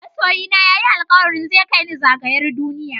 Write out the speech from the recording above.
Masoyina ya yi alkawari zai kai ni zagayar duniya.